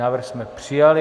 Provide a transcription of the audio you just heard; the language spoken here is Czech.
Návrh jsme přijali.